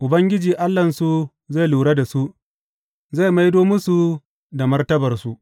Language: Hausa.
Ubangiji Allahnsu zai lura da su; zai maido musu da martabarsu.